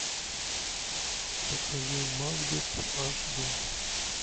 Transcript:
покажи макбет аш дэ